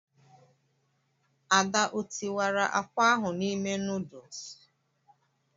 Ada ọ tiwara akwa ahụ n'ime nuduls?